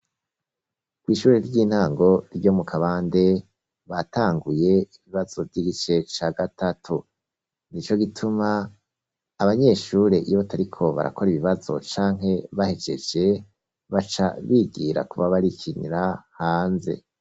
Ku ishure ry'intango ryo mu Kabande batanguye ibibazo vy'igice ca gatatu nico gituma abanyeshure iyo batariko barakora, ibibazo canke bahegeje baca bigira kuba barikinira hanze.